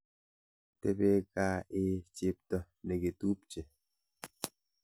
Tebe gaa eeh chepto nekitupche.